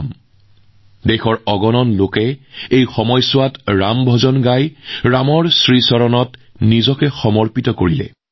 এই সময়ছোৱাত দেশৰ বহু লোকে ৰাম ভজন গাই শ্ৰীৰামৰ চৰণত নিজকে উৎসৰ্গা কৰিছিল